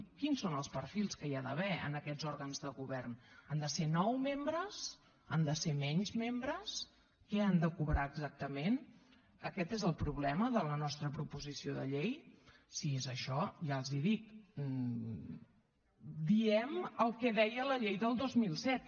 quins són els perfils que hi ha d’haver en aquests òrgans de govern han de ser nou membres han de ser menys membres què han de cobrar exactament aquest és el problema de la nostra proposició de llei si és això ja els ho dic diem el que deia la llei del dos mil set